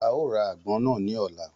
A ó ra àgbọn náà ní ọ̀la